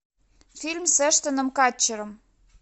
фильм с эштоном катчером